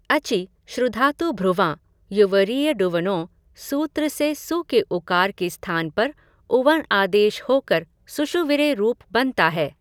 अचि श्नुधातुभ्रुवां य्वोरियडुवङौ सूत्र से सु के उकार के स्थान पर उवङ् आदेश होकर सुषुविरे रूप बनता है।